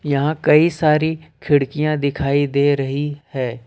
कई सारी खिड़कियां दिखाई दे रही है।